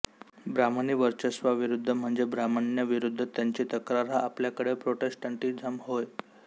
ब्राह्मणी वर्चस्वाविरुद्ध म्हणजे ब्राह्मण्याविरुद्ध त्यांची तक्रार हा आपल्याकडील प्रोटेस्टॅन्टिझम होय